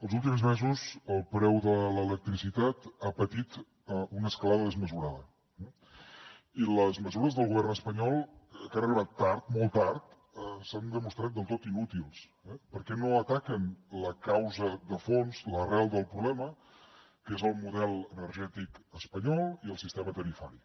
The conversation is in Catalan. els últims mesos el preu de l’electricitat ha patit una escalada desmesurada i les mesures del govern espanyol que han arribat tard molt tard s’han demostrat del tot inútils perquè no ataquen la causa de fons l’arrel del problema que és el model energètic espanyol i el sistema tarifari